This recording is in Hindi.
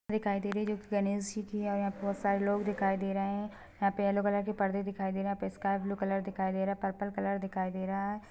दिखाई दे रही है जो की गणेश जी की है यहाँ पे बहोत सारे लोग दिखाई दे रहे है यहाँ पे येलो कलर के पर्दे दिखाई दे रहे है यहाँ पे स्काइ बालू कलर दिखाई दे रहा है पर्पल कलर दिखाई दे रहा है।